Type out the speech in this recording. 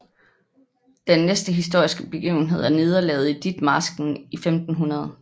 Den næste historiske begivenhed er nederlaget i Ditmarsken i 1500